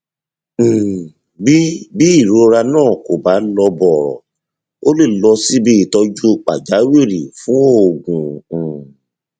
um bí bí ìrora náà kò bá lọ bọrọ ó lè lọ síbi ìtọjú pàjáwìrì fún oògùn um